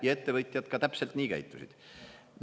Ja ettevõtjad ka täpselt nii käitusid.